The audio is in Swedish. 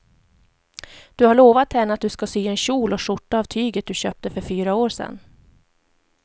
Du har lovat henne att du ska sy en kjol och skjorta av tyget du köpte för fyra år sedan.